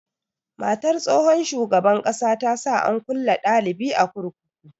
Matar tsohon shugaban ƙasa ta sa an kulle dalibi a kurkuku.